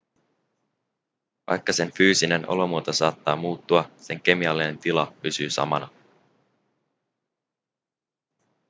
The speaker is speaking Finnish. vaikka sen fyysinen olomuoto saattaa muuttua sen kemiallinen tila pysyy samana